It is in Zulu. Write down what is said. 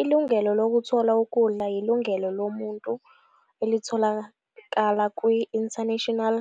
Ilungelo lokuthola ukudla yilungelo lomuntu elitholakala kwi- International